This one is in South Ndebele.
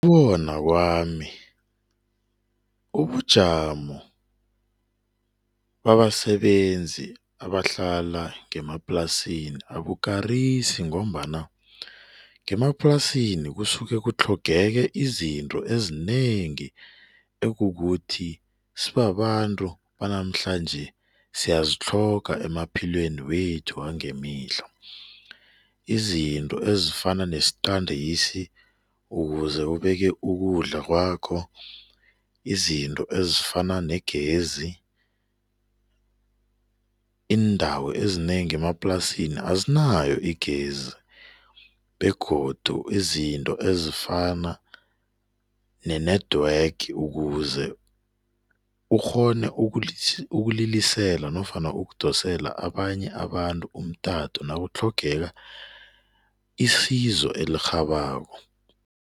Bona kwami, ubujamo babasebenzi abahlala ngemaplasini abukarisi ngombana ngemaplasini kusuke kutlhogeke izinto ezinengi ekukuthi sibabantu banamhlanje siyazithloga emaphilweni wethu ngemihla. Izinto ezifana nesqandisi ukuze ubeke ukudla kwakho. Izinto ezinafana